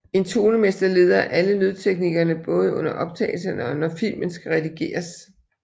En tonemester leder alle lydteknikerne både under optagelserne og når filmen skal redigeres